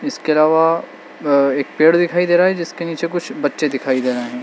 इसके अलावा एक पेड़ दिखाई दे रहा है जिसके नीचे कुछ बच्चे दिखाई दे रहे है।